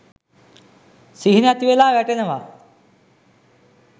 සිහිනැතිවෙලා වැටෙනවා.